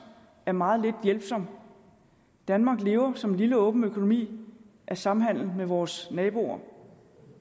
er meget lidt hjælpsom danmark lever som en lille åben økonomi af samhandel med vores naboer